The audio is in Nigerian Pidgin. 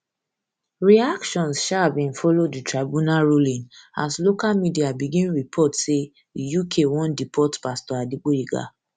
reactions um bin follow di tribunal ruling as local media begin report say di uk wan deport pastor adegboyega